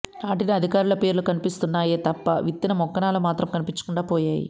నాటిన అధికారుల పేర్లు కనిపిస్తున్నాయే తప్ప విత్తిన మొక్కలు మాత్రం కనిపించకుండా పోయాయి